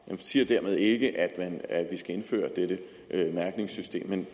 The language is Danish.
jeg siger dermed ikke at vi skal indføre dette mærkningssystem men